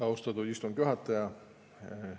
Austatud istungi juhataja!